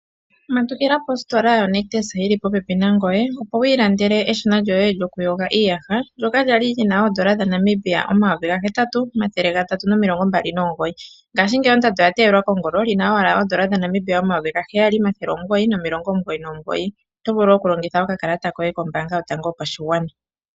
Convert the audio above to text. Matukila positola yonictus yili popepi nangoye opo wiiilandele eshina loku yoga iiyaha ndyoka kwali lina oondola dhaNamibia omayovi gahetatu nomathele gatatu nomilongo mbali nomugoyi ngaashi ngeyi ondando oya teyelwa kongolo lina owala oondola dhaNamibia omayovi gaheyali nomathele omugoyi nomulongo omugoyi nomugoyi, oto vulu okulongitha okakalata koye kombanga yotango yopashigwana.